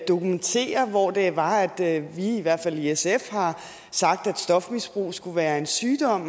dokumentere hvor det var at vi i hvert fald i sf har sagt at stofmisbrug skulle være en sygdom